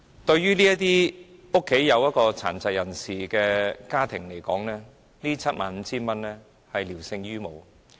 對於家中有殘疾人士的家庭來說，這 75,000 元聊勝於無。